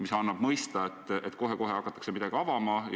See andis mõista, et kohe-kohe hakatakse midagi avama.